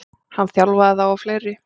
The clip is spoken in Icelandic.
Hann þjálfaði þá og fleiri.